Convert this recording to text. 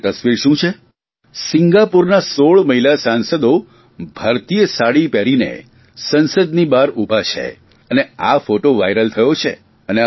અને તસ્વીર શું છે સિંગાપુરના 16 મહિલા સાંસદો ભારતીય સાડે પહેરીને સંસદની બહાર ઉભાં છે અને આ ફોટો વાયરલ થયો છે